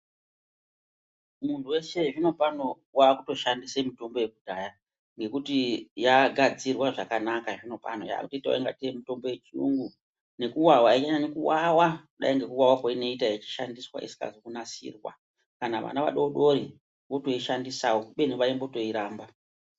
Munhuweshe zvino pano waakutoshandise mitombo yekudhaya ngekuti yagadzirwa zvakana zvino pano yakuite kunga tei mitombo yechiyungu nekuwawa anyanyi kuwawa kudai ngekuwawa kwainoita ichishandiswa isina kunasirwa kana vana vadodori vaakutoishandisawo kubeni vaitomboiramba.